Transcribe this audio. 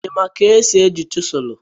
Ị ma ka esi eji chiselụ?